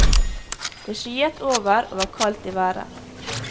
Det skyet over og var kaldt i været.